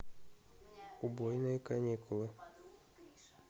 убойные каникулы